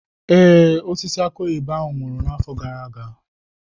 Ee, osisi aki oyibo ahụ nwụrụ n'afọ gara aga.